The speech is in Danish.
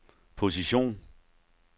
position